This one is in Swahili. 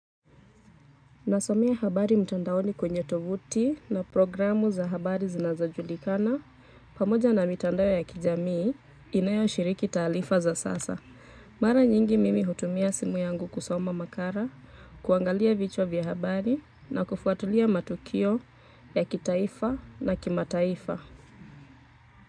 Nasomea habari mtandaoni kwenye tovuti, na programu za habari zinazojulikana, pamoja na mitandao ya kijamii, inayoshiriki taarifa za sasa. Mara nyingi mimi hutumia simu yangu kusoma makala, kuangalia vichwa vya habari, na kufuatulia matukio ya kitaifa na kimataifa.